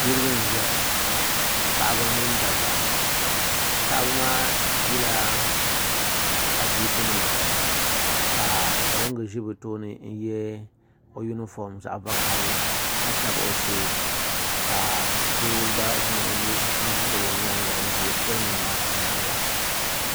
Niriba n zaya paɣaba mini dabba paɣaba maa zila adiiku nima ka poliŋga zi bi tooni n ye o unifom zaɣi vakahali ka tabi o shɛɛ ka doo gba zaŋ o nuu labi o yɛanga m zɛ poliŋga maa yɛanga.